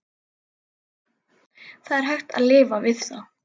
Það var hægt að lifa við það.